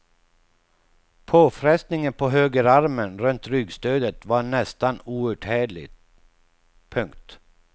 Påfrestningen på högerarmen runt ryggstödet var nästan outhärdlig. punkt